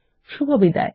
শুভবিদায়